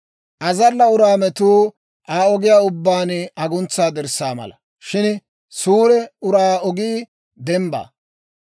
Azalla uraa metuu Aa ogiyaa ubbaan aguntsa dirssaa mala; shin suure uraa ogii dembbaa.